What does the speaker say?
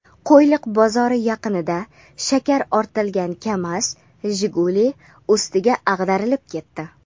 Qo‘yliq bozori yaqinida shakar ortilgan "Kamaz" "Jiguli" ustiga ag‘darilib ketdi.